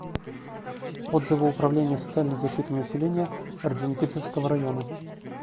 отзывы управление социальной защиты населения орджоникидзевского района